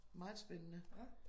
Meget spændende